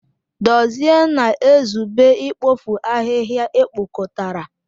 Dozie na-ezube ikpofu ahịhịa ekpokọtara.